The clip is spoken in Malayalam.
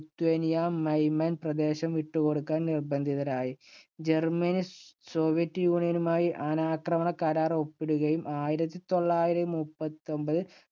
ലിത്വാനിയ മൈമൽ പ്രദേശം വിട്ടുകൊടുക്കാൻ നിർബന്ധിതരായി. ജർമ്മനി സോവിയറ്റ് യൂണിയനുമായി അനാക്രമണ കരാർ ഒപ്പിടുകയും ആയിരത്തി തൊള്ളായിരത്തി മുപ്പത്തിയൊമ്പതില്‍